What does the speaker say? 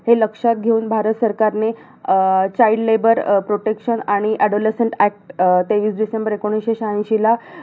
हे लक्षात घेऊन भारत सरकारने, अं child labor अं protection आणि adolescent act तेवीस डिसेंबर एकोणीसशे शहाऐंशीला